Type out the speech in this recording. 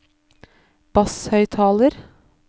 basshøyttaler